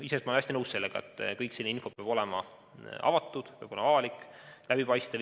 Iseenesest ma olen väga nõus, et kogu selline info peab olema avatud, see peab olla avalik, läbipaistev.